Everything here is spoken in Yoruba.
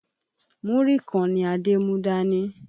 Múrí kan ni Adé mú dání.